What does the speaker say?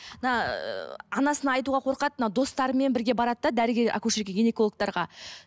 мына ыыы анасына айтуға қорқады мына достарымен бірге барады да дәрігер акушерка гинекологтарға